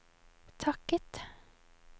takket